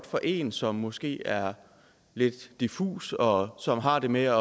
for en som måske er lidt diffus og som har det med